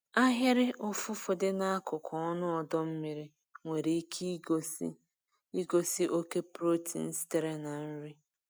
Ahịrị ụfụfụ dị n'akụkụ ọnụ ọdọ mmiri nwere ike igosi igosi oke protein sitere na nri.